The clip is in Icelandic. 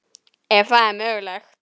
Ef það er mögulegt.